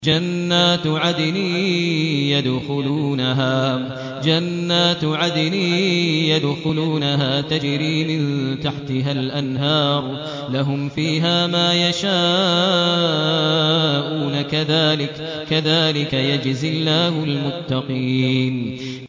جَنَّاتُ عَدْنٍ يَدْخُلُونَهَا تَجْرِي مِن تَحْتِهَا الْأَنْهَارُ ۖ لَهُمْ فِيهَا مَا يَشَاءُونَ ۚ كَذَٰلِكَ يَجْزِي اللَّهُ الْمُتَّقِينَ